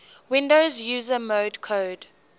windows user mode code